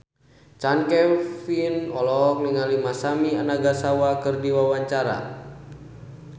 Chand Kelvin olohok ningali Masami Nagasawa keur diwawancara